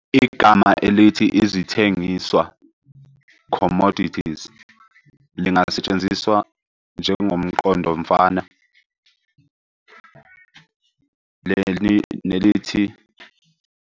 Igama elithi Izithengiswa, "Commodities" lingasetshenziswa njengomqondofana nelithi.